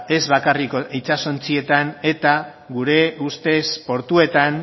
ez bakarrik itsasontzietan eta gure ustez portuetan